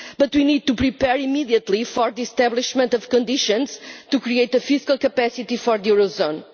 But we need to prepare immediately for the establishment of conditions to create a fiscal capacity for the eurozone.